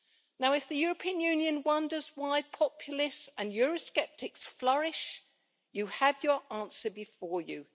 Now if the European Union wonders why populace and Eurosceptics flourish, you have your answer before you.